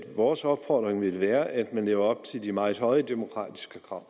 vores opfordring vil være at man lever op til de meget høje demokratiske krav